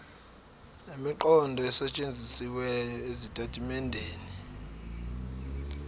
nemiqondo esetshenzisiwe ezitatimendeni